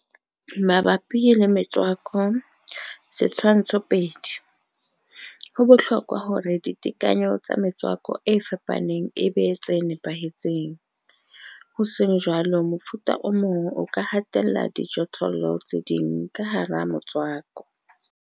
Mabapi le metswako, Setshwantsho sa 2, ho bohlokwa hore ditekanyo tsa metswako e fapaneng e be tse nepahetseng, ho seng jwalo mofuta o mong o ka hatella dijothollo tse ding ka hara motswako.